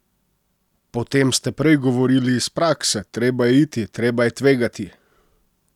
Potem ste prej govorili iz prakse, treba je iti, treba je tvegati!